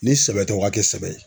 Ni sɛbɛ tɛ u k'a kɛ sɛbɛ ye.